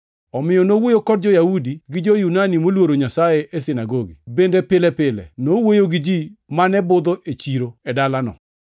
Omiyo nowuoyo kod jo-Yahudi gi jo-Yunani moluoro Nyasaye e sinagogi. Bende pile pile nowuoyo gi ji mane budho e chiro e dalano.